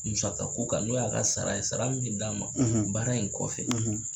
Musaka ko kan n'o y'a ka sara ye, sara mi bi d'a ma baara in kɔfɛ